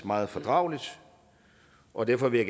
meget fordrageligt og derfor vil